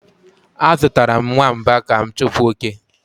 Azụtara m nwamba ka m chụpụ oke